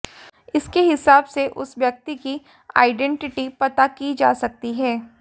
इसके हिसाब से उस व्यक्ति की आइडेंटिटी पता की जा सकती है